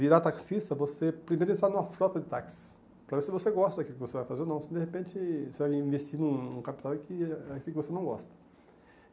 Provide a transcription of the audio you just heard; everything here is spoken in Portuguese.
virar taxista, você primeiro entrar numa frota de táxis, para ver se você gosta daquilo que você vai fazer ou não, se de repente você vai investir num capital que é aquilo que você não gosta.